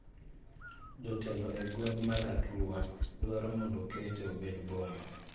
Jotelo e gweng' mar Arua dwaro mondo okete obed boma.